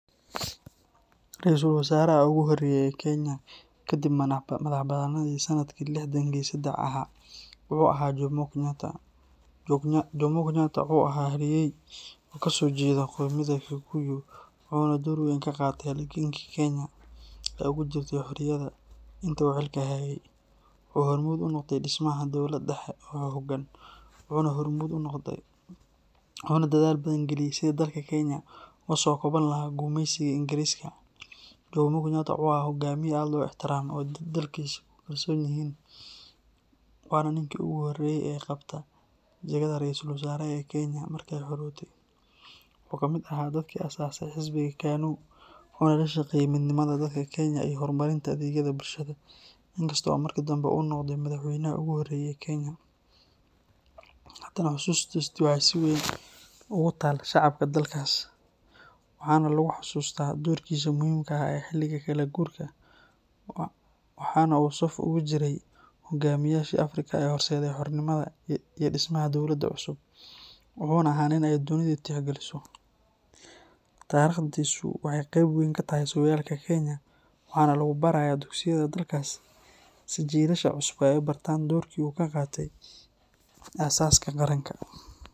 Ra’iisul Wasaaraha ugu horreeyay ee Kenya kadib madaxbannaanidii sanadkii lixdankii seddex ahaa wuxuu ahaa Jomo Kenyatta. Jomo Kenyatta wuxuu ahaa halyay oo kasoo jeeda qoomiyadda Kikuyu, wuxuuna door weyn ka qaatay halgankii Kenya ay ugu jirtay xorriyadda. Intii uu xilka hayay, wuxuu hormuud u noqday dhismaha dawlad dhexe oo xooggan, wuxuuna dadaal badan geliyay sidii dalka Kenya uga soo kaban lahaa gumeysigii Ingiriiska. Jomo Kenyatta wuxuu ahaa hoggaamiye aad loo ixtiraamo oo dadkiisu ku kalsoon yihiin, waana ninkii ugu horreeyay ee qabta jagada Ra’iisul Wasaaraha ee Kenya markay xorowday. Waxa uu ka mid ahaa dadkii aas-aasay xisbigii KANU, wuxuuna ka shaqeeyay midnimada dadka Kenya iyo horumarinta adeegyada bulshada. Inkasta oo markii dambe uu noqday Madaxweynaha ugu horreeyay ee Kenya, haddana xusuustiisa waxay si weyn ugu taal shacabka dalkaas, waxaana lagu xusuustaa doorkiisii muhiimka ahaa ee xilligii kala guurka. Waxaa uu saf ugu jiray hogaamiyaashii Afrika ee horseeday xornimada iyo dhismaha dawladaha cusub, wuxuuna ahaa nin ay dunidu tixgeliso. Taariikhdiisu waxay qeyb weyn ka tahay sooyaalka Kenya, waxaana lagu barayaa dugsiyada dalkaas si jiilasha cusub ay u bartaan doorkii uu ka qaatay aasaaska qaranka.